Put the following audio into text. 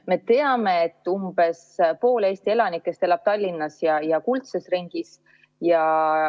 Me teame, et umbes pool Eesti elanikest elab Tallinnas ja kuldses ringis.